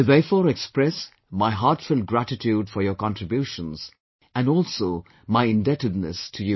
I therefore express my heartfelt gratitude for your contributions and also my indebtedness to you